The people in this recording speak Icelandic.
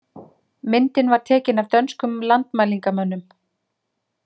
Myndin var tekin af dönskum landmælingamönnum.